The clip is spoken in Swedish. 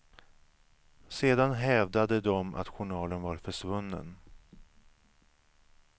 Sedan hävdade de att journalen var försvunnen.